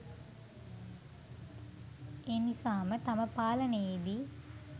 එනිසාම තම පාලනයේදී